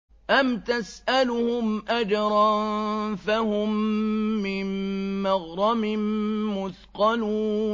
أَمْ تَسْأَلُهُمْ أَجْرًا فَهُم مِّن مَّغْرَمٍ مُّثْقَلُونَ